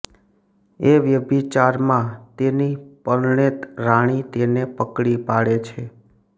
એ વ્યભિચારમાં તેની પરણેત રાણી તેને પકડી પાડે છે